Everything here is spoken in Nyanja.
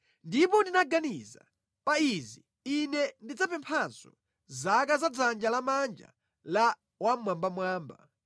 Ndipo ndinaganiza, “Pa izi ine ndidzapemphanso: zaka za dzanja lamanja la Wammwambamwamba.